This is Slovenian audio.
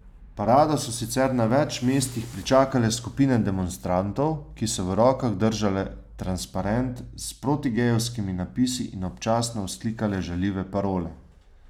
Parado so sicer na več mestih pričakale skupine demonstrantov, ki so v rokah držale transparente s protigejevskimi napisi in občasno vzklikale žaljive parole.